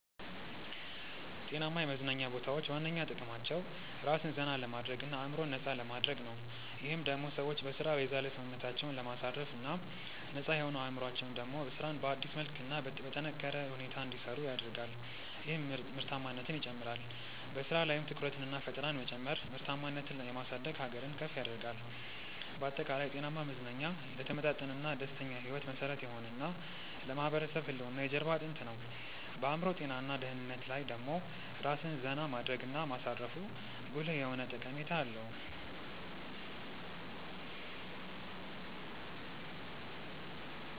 ጤናማ የመዝናኛ ቦታዎች ዋነኛ ጥቅማቸው ራስን ዘና ለማድረግ እና አዕምሮን ነፃ ለማድረግ ነው። ይህም ደሞ ሰዎች በሥራ የዛለ ሰውነታቸውን ለማሳረፍ እና ነፃ የሆነው አዕምሮአቸው ደሞ ስራን በአዲስ መልክ እና በጠነካረ ሁኔታ እንዲሰሩ ያደርጋል ይህም ምርታማነትን ይጨምራል። በሥራ ላይም ትኩረትንና ፈጠራን መጨመር ምርታማነትን የማሳደግ ሀገርን ከፍ ያደርጋል። ባጠቃላይ፣ ጤናማ መዝናኛ ለተመጣጠነና ደስተኛ ሕይወት መሠረት የሆነ እና ለማህበረሰብ ህልውና የጀርባ አጥንት ነው። በአዕምሮ ጤና እና ደህንነት ላይ ደሞ ራስን ዜና ማድረግ እና ማሳረፉ ጉልህ የሆነ ጠቀሜታ አለው።